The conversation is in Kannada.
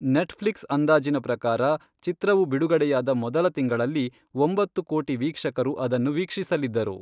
ನೆಟ್ಫ್ಲಿಕ್ಸ್ ಅಂದಾಜಿನ ಪ್ರಕಾರ, ಚಿತ್ರವು ಬಿಡುಗಡೆಯಾದ ಮೊದಲ ತಿಂಗಳಲ್ಲಿ ಒಂಬತ್ತು ಕೋಟಿ ವೀಕ್ಷಕರು ಅದನ್ನು ವೀಕ್ಷಿಸಲಿದ್ದರು.